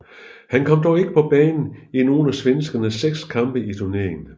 Han kom dog ikke på banen i nogen af svenskernes seks kampe i turneringen